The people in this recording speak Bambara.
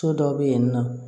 So dɔw bɛ yen nɔ